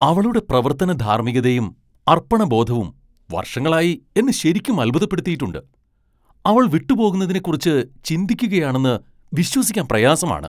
അവളുടെ പ്രവർത്തന ധാർമ്മികതയും അർപ്പണബോധവും വർഷങ്ങളായി എന്നെ ശരിക്കും അത്ഭുതപ്പെടുത്തിയിട്ടുണ്ട് , അവൾ വിട്ടുപോകുന്നതിനെക്കുറിച്ച് ചിന്തിക്കുകയാണെന്ന് വിശ്വസിക്കാൻ പ്രയാസമാണ്.